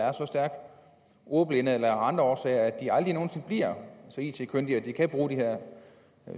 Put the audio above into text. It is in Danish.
er så stærkt ordblinde eller andre årsager at de aldrig nogen sinde bliver så it kyndige at de kan bruge de her